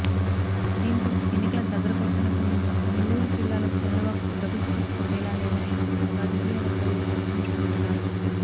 దీంతో ఎన్నికల దగ్గర పడుతున్న సమయంలో నెల్లూరు జిల్లాలో చంద్రబాబుకు డబుల్ స్ట్రోక్ తప్పేలా లేదని రాజకీయవర్గాల్లో చర్చించుకుంటున్నారు